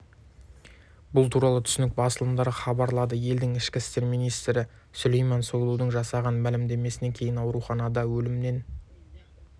бұл туралы түрік басылымдары хабарлады елдің ішкі істер министрі сүлейман сойлуның жасаған мәлімдемесінен кейін ауруханада өліммен